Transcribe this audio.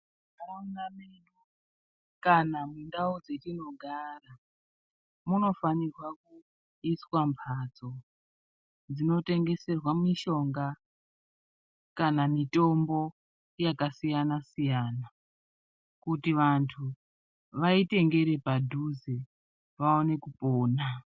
Munharaunda medu kana mundau dzatinogara munofanirwa kuiswa mhatso dzinotengeswera mishonga kana mitombo yakasiyana siyana kuti vantu vaitengere padhuze kuti vaine kupona.